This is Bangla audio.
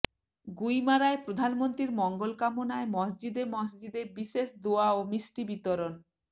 গুইমারায় প্রধানমন্ত্রীর মঙ্গল কামনায় মসজিদে মসজিদে বিশেষ দোয়া ও মিষ্টি বিতরণ